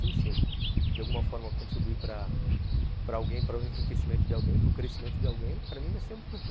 Sim, se eu de alguma forma contribuir para para alguém, para o enriquecimento de alguém, para o crescimento de alguém, para mim vai ser um prazer.